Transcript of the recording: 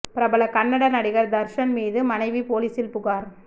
பிரபல கன்னட நடிகர் தர்ஷன் மீது மனைவி போலீசில் புகார்